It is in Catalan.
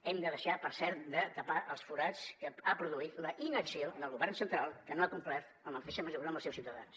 hem de deixar per cert de tapar els forats que ha produït la inacció del govern central que no ha complert en la mateixa mesura amb els seus ciutadans